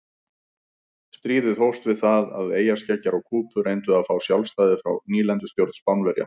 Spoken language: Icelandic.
Stríðið hófst við það að eyjarskeggjar á Kúbu reyndu að fá sjálfstæði frá nýlendustjórn Spánverja.